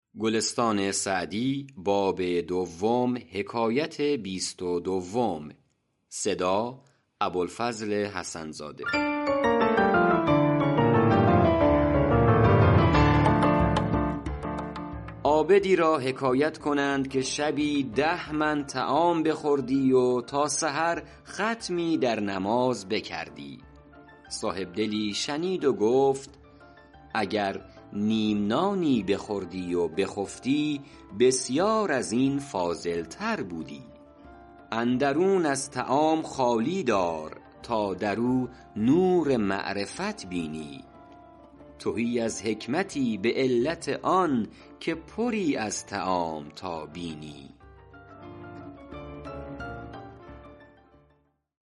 عابدی را حکایت کنند که شبی ده من طعام بخوردی و تا سحر ختمی در نماز بکردی صاحبدلی شنید و گفت اگر نیم نانی بخوردی و بخفتی بسیار از این فاضل تر بودی اندرون از طعام خالی دار تا در او نور معرفت بینی تهی از حکمتی به علت آن که پری از طعام تا بینی